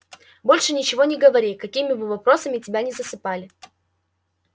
больше ничего не говори какими бы вопросами тебя ни засыпали